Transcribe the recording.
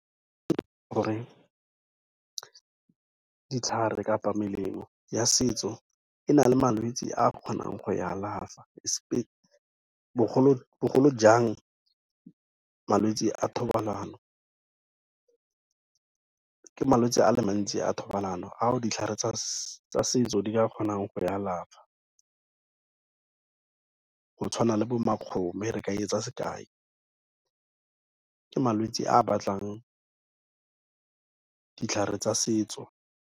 Gore ditlhare kapa melemo ya setso e na le malwetsi a kgonang go e alafa, bogolojang malwetsi a thobalano, ke malwetse a le mantsi a thobalano ao ditlhare tsa setso di ka kgonang go e alafa go tshwana le bo makgome re ka etsa sekai, ke malwetsi a batlang ditlhare tsa setso.